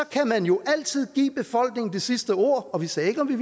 kan man jo altid give befolkningen det sidste ord og vi sagde ikke om vi